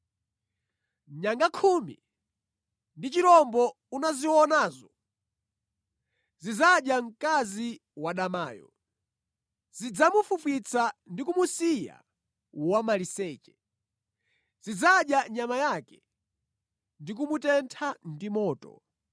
Nyanga khumi ndi chirombo unazionazo zidzadya mkazi wadamayo. Zidzamufwifwitsa ndi kumusiya wamaliseche; zidzadya nyama yake ndi kumutentha ndi moto.